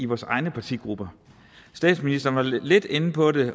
vores egne partigrupper statsministeren var lidt lidt inde på det